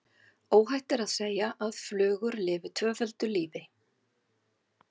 Óhætt er að segja að flugur lifi tvöföldu lífi.